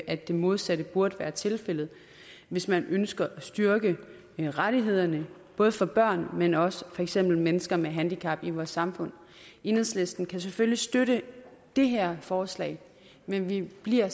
at det modsatte burde være tilfældet hvis man ønsker at styrke rettighederne både for børn men også for for eksempel mennesker med handicap i vores samfund enhedslisten kan selvfølgelig støtte det her forslag men vi bliver